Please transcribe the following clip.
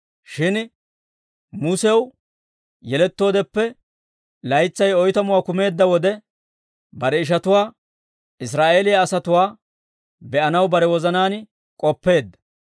«Shin Musew yelettoodeppe laytsay oytamuwaa kumeedda wode, bare ishatuwaa, Israa'eeliyaa asatuwaa be'anaw bare wozanaan k'oppeedda.